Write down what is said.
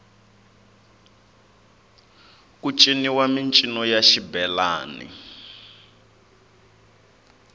ku ciniwa mincino ya xibelani